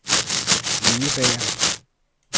indebærer